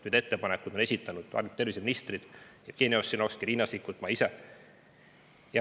Need ettepanekud on esitanud paljud terviseministrid: Jevgeni Ossinovski, Riina Sikkut ja ma ise.